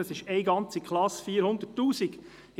das ist eine ganze Klasse, also 400 000 Franken.